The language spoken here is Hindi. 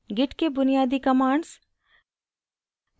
git के बुनियादी commands